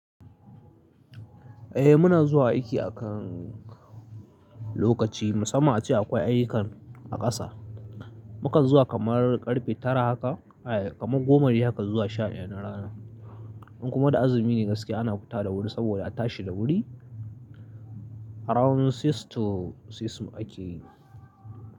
Eh muna zuwa aiki akan lokaci, musamman a ce akwai ayyukan a ƙasa. Mukan zuwa kamar ƙarfe tara haka, eh kamar goma dai haka zuwa sha ɗaya na rana. In kuma da azumi ne gaskiya ana futa da wuri saboda a tashi da wuri around six to six ake yi.